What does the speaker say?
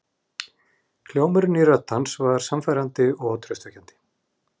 Hljómurinn í rödd hans var sannfærandi og traustvekjandi.